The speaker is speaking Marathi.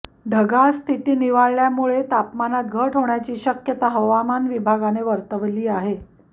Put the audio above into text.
ढगाळ स्थिती निवळल्यामुळे तापमानात घट होण्याची शक्यता हवामान विभागाने वर्तवली आहे